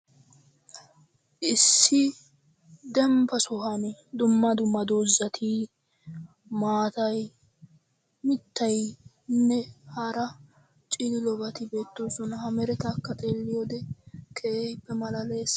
Issi dembba sohuwaan dumma dumma dozatti, maatay, mittaynne hara cilillobatti beettosonna. Ha merettakka xeliyodde keehippe maallales.